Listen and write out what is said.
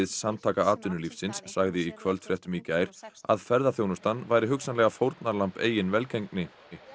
Samtaka atvinnulífsins sagði í kvöldfréttum í gær að ferðaþjónustan væri hugsanlega fórnarlamb eigin velgengni